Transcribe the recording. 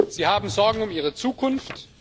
Sie haben Sorgen um ihre Zukunft.